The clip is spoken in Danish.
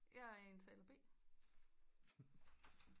Jeg er indtaler B